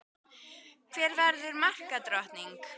Hver verður markadrottning?